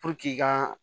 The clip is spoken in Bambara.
ka